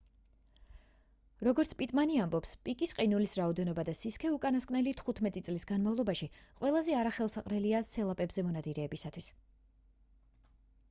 როგორც პიტმანი ამბობს პაკის ყინულის რაოდენობა და სისქე უკანასკნელი 15 წლის განმავლობაში ყველაზე არახელსაყრელია სელაპებზე მონადირეებისთვის